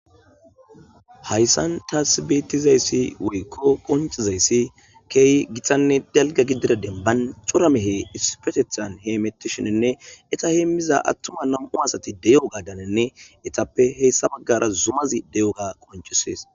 hayssan ta beetizayssi weykko qoncizayssi keeyi gitanne dalga gidida denban coramehe ispetethan hee mettishininne eta heemmiza attuma nam7u asati deyo gadanenne etappe heessa baggara zumazi de7o ga qoncisees